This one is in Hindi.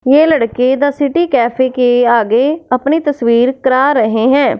ये लड़के द सिटी कॅफे के आगे अपनी तस्वीर करा रहें हैं।